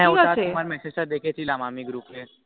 ঠিক আছে ওই তা আমি তোমার message টা দেখেছিলাম আমি group এর